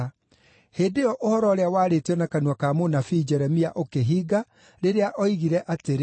Hĩndĩ ĩyo ũhoro ũrĩa waarĩtio na kanua ka mũnabii Jeremia ũkĩhinga, rĩrĩa oigire atĩrĩ: